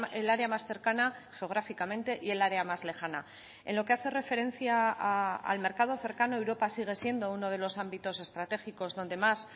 el área más cercana geográficamente y el área más lejana en lo que hace referencia al mercado cercano europa sigue siendo uno de los ámbitos estratégicos donde más